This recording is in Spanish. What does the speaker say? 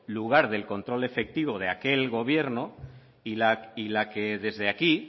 lugar del control efectivo de aquel gobierno y la que desde aquí